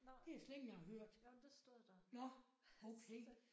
Nåh. Jo men det stod der. Så